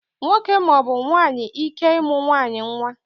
Nwoke maọbụ nwaanyị ike ịmụ nwaanyị nwa